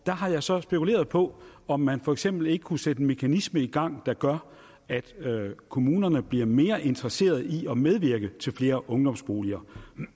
har jeg så spekuleret på om man for eksempel ikke kunne sætte en mekanisme i gang der gør at kommunerne bliver mere interesseret i at medvirke til flere ungdomsboliger